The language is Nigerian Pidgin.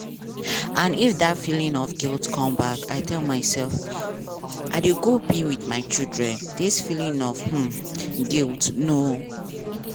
and if dat feeling of guilt come back i tell myself: 'i dey go to be wit my children dis feeling of um guilt no